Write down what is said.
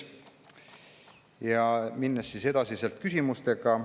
Läheme edasi küsimustega.